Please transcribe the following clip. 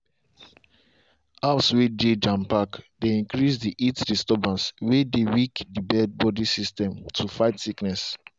house way dey jam pack dey increase heat disturbance way dey weak the birds body system to fight sickness.